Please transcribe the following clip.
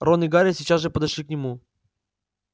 рон и гарри сейчас же подошли к нему